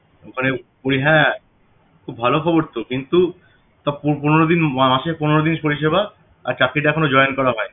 ওখানে ওই হ্যাঁ খুব ভালো খবর তো কিন্তু তা পন~ পনেরো দিন মাসে পনেরো দিন শরীর সেবা আর চাকরিতে এখনো join করা হয়নি